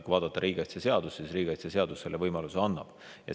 Kui vaadata riigikaitseseadust, siis riigikaitseseadus selle võimaluse annab.